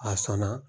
A sɔnna